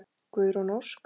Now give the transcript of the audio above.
Guðrún Ósk.